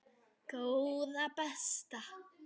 Góða besta.